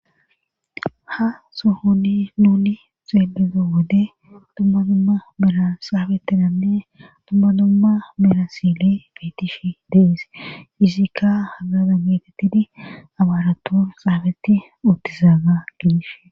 ha sohoni nuni xeeledo wode dumma dumma mera saabetidanne dumma dumma mera sile beetishi deis izikka hagada meetettidi abaarator xaabeti uttizaaga gidish